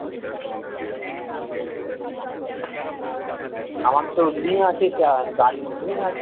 আমার তো ring আছে চ্যাঁ গাড়ির ring আছে